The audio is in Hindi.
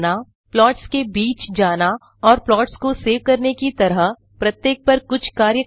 प्लॉट्स के बीच जाना और प्लॉट्स को सेव करने की तरह प्रत्येक पर कुछ कार्य करना